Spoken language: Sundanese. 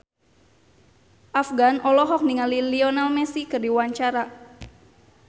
Afgan olohok ningali Lionel Messi keur diwawancara